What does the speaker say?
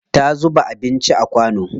Ta zuba anincin a kwano.